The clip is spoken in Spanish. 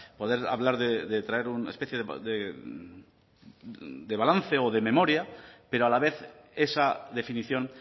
poder hablar de traer una especie de balance o de memoria pero a la vez esa definición